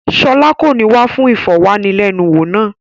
Ṣọlá kò ní wá fún ìfọ̀wánilẹ́nuwò náà.